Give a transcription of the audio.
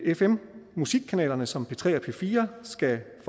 fm musikkanalerne som p3 og p4 skal